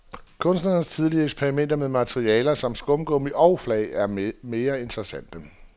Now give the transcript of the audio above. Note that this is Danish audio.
Kunstnerens tidligere eksperimenter med materialer som skumgummi og flag er mere interessante.